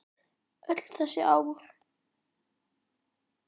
Öll þessi ár?